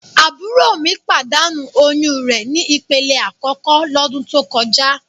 Àbúrò mi pàdánù oyún re ni ìpele àkókò lọ́dún tó kọjá.